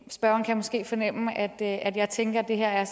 spørgeren kan måske fornemme at jeg tænker at det her er